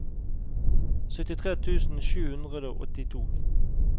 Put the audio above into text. syttitre tusen sju hundre og åttito